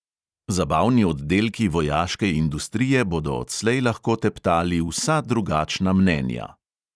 Zabavni oddelki vojaške industrije bodo odslej lahko teptali vsa drugačna mnenja.